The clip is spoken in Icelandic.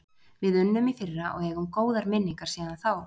Við unnum í fyrra og eigum góðar minningar síðan þá.